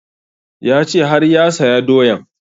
Ya ce har ya saya doyan